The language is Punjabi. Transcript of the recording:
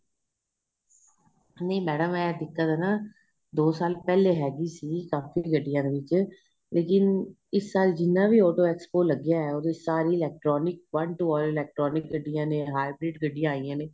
ਨਹੀਂ ਮੈਡਮ ਏ ਦਿੱਕਤ ਨਾ ਦੋ ਸਾਲ ਪਹਿਲੇ ਹੈਗੀ ਸੀ ਕਾਫ਼ੀ ਗੱਡੀਆਂ ਦੇ ਵਿੱਚ ਲੇਕਿਨ ਇਸ ਸਾਲ ਜਿੰਨਾ ਵੀ auto expo ਲੱਗਿਆ ਏ ਉਹਦੇ ਵਿੱਚ ਸਾਰੀ electronic one to all electronic ਗੱਡੀਆਂ ਨੇ heart beat ਗੱਡੀਆਂ ਆਈਆਂ ਨੇ